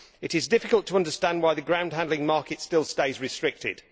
It is difficult to understand why the groundhandling market still stays restricted.